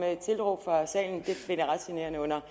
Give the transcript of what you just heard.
tilråb fra salen og det finder jeg ret generende under